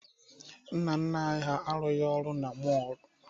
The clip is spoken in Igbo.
Nna nna anị ha arụghị ọrụ na mọọlụ.